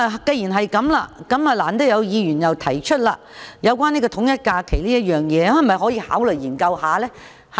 既然如此，難得有議員提出有關統一假期的議案，大家可否考慮研究一下？